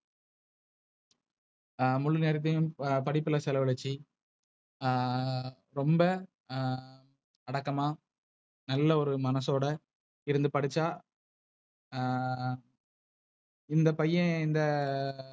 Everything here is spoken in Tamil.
ஆஹ் முழு நேரத்தையும் படிப்புல செலவழிச்சி. ஆஹ் ரோம்ப ஆஹ் அடக்கமா, நல்ல ஒரு மனசோட இருந்து படிச்சா ஆஹ் இந்த பைய இந்த,